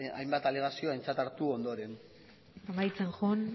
hainbat alegazio aintzat hartu ondoren amaitzen joan